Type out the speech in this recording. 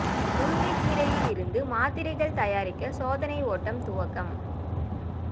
முருங்கைக்கீரையில் இருந்து மாத்திரைகள் தயாரிக்க சோதனை ஓட்டம் துவக்கம்